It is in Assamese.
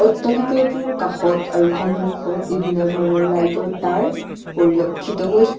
অট্টালিকাটোৰ কাষত আৰু সন্মুখত বিভিন্ন ধৰণৰ লাইট ৰ তাঁৰ পৰিলক্ষিত হৈ--